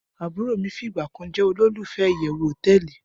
Aburo mi figba kan je olulufe iyewu hoteeli